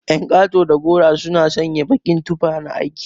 Ƴan kato da garo suna sanya baƙin tufa na aiki.